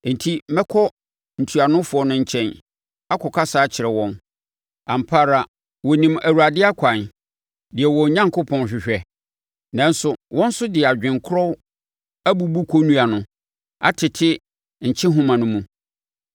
Enti mɛkɔ ntuanofoɔ no nkyɛn akɔkasa akyerɛ wɔn; ampa ara wɔnim Awurade akwan deɛ wɔn Onyankopɔn hwehwɛ.” Nanso wɔn nso de adwene korɔ abubu kɔnnua no atete nkyehoma no mu.